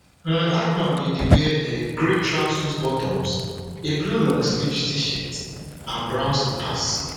um hackman bin dey wear um grey tracksuit bottoms a blue longsleeve tshirt and brown slippers